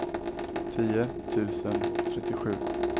tio tusen trettiosju